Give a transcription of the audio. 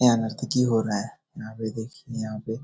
यहाँ नर्तकी हो रहा है । यहाँ पे देखिये यहाँ पे --